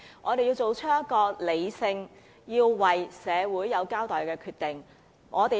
我們要作出一個理性、向社會有所交代的決定。